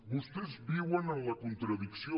vostès viuen en la contradicció